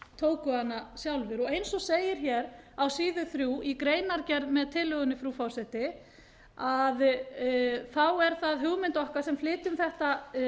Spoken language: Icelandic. menn tóku hana sjálfir eins og segir á síðu þrjú í greinargerð með tillögunni frú forseti er það hugmynd okkar sem flytjum þetta